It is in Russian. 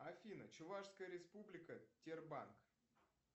афина чувашская республика тербанк